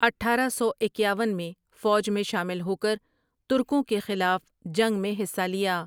اٹھارہ سو اکیاون میں فوج میں شامل ہوکر ترکوں کے خلاف جنگ میں حصہ لیا ۔